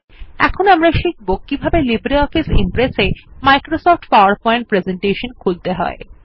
এরপর আমরা শিখব কিভাবে লিব্রিঅফিস ইমপ্রেস এ মাইক্রোসফট পাওয়ারপয়েন্ট প্রেজেন্টেশন খুলতে হয়